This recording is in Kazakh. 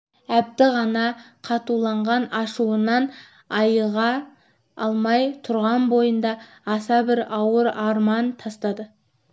әбді ғана қатуланған ашуынан айыға алмай тұрған бойында аса бір ауыр арман тастады